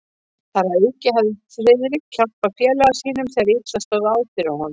Þar að auki hafði Friðrik hjálpað félaga sínum, þegar illa stóð á fyrir honum.